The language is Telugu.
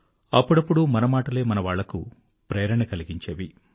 అప్పుడప్పుడూ మనమాటలే మనవాళ్ళకు ప్రేరణ కలిగించేవి